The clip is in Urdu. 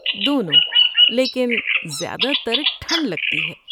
دونوں، لیکن زیادہ تر ٹھنڈ لگتی ہے۔